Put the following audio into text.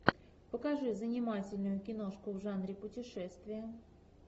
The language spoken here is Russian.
покажи занимательную киношку в жанре путешествия